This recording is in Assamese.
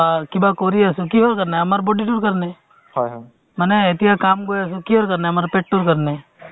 আৰু কাম কৰাৰ পিছত তেওঁ চল্লিশ বছৰ বা পঞ্চাশ বছৰ হৈ যোৱাৰ পিছত যিখিনি টকা উপাৰ্জন কৰে সেইখিনি টকা আকৌ নিজৰ স্বাস্থ্যৰ ওপৰত মানে